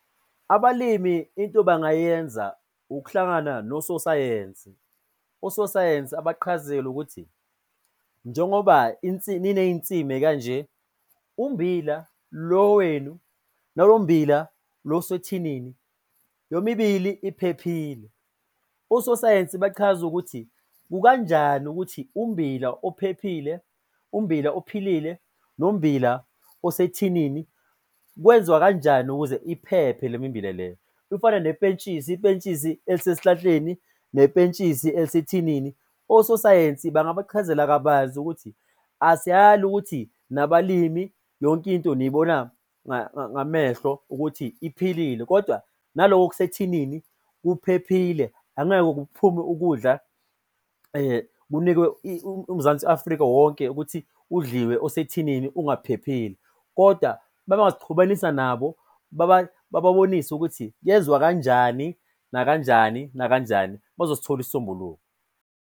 Abalimi into bangayenza ukuhlangana nososayensi. Ososayensi abaqhazele ukuthi njengoba niney'nsimi kanje, umbila lo wenu nabo mbila lo oswethinini yomibili iphephile. Ososayensi bachaze ukuthi kukanjani ukuthi umbila ophephile, umbila ophilile nombila osethinini kwenziwa kanjani ukuze iphephe le mimbila le. Ifana nepentshisi, ipentshisi elisesihlahleni nepentshisi elisethinini, ososayensi bangabachazela kabanzi ukuthi asiyali ukuthi nabalimi, yonke into niyibona ngamehlo ukuthi iphilile kodwa naloko okusethinini kuphephile. Angeke kuphume ukudla kunikwe uMzansi Afrika wonke ukuthi udliwe osethinini ungaphephile koda mabengasixhumanisa nabo bababonise ukuthi kuyenziwa kanjani, nakanjani nakanjani bazosithola isisombululo.